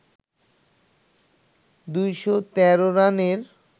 ২১৩ রানের